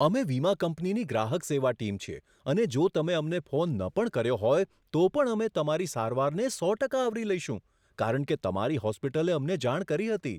અમે વીમા કંપનીની ગ્રાહક સેવા ટીમ છીએ અને જો તમે અમને ફોન ન પણ કર્યો હોય તો પણ અમે તમારી સારવારને સો ટકા આવરી લઈશું, કારણ કે તમારી હોસ્પિટલે અમને જાણ કરી હતી.